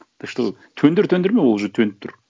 ты что төндір төндірме ол уже төніп тұр